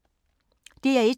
DR1